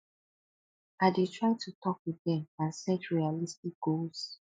i dey try to talk with dem and set realistic goals